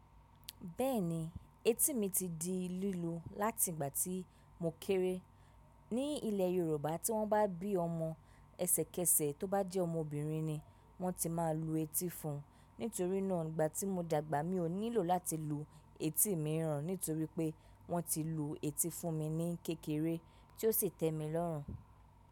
Bẹ́ẹ̀ni, etí mi ti di lílu láti ìgbà tí mo kéré. Ní ilẹ̀ Yorùbá, tí wọ́n bá bí ọmọ ẹsẹ̀kẹsẹ̀, tó bá jẹ́ ọmọbìnrin ni wọ́n ti máa lu etí fún un. Nítorí náà, ìgbà tí mo dàgbà, mi ò nílò láti lu etí mi rán nítorí pé wọ́n ti lu etí fún mi ní kékeré tí ó sì tẹ́mi lọ́rùn.